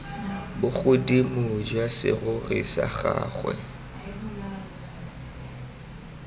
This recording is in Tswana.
bogodimo jwa serori sa gagwe